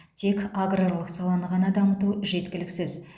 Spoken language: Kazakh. тек аграрлық саланы ғана дамыту жеткіліксіз